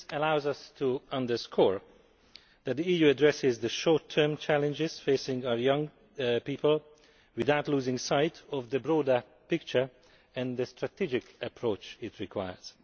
This allows us to underscore that the EU is addressing the short term challenges facing our young people without losing sight of the broader picture and the strategic approach it requires.